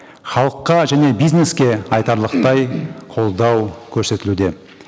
халыққа және бизнеске айтарлықтай қолдау көрсетілуде